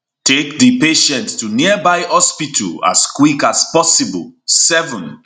take di patient to nearby hospital as quick as possible 7